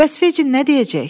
Bəs Fecin nə deyəcək?